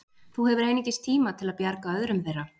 Þú hefur einungis tíma til að bjarga öðrum þeirra.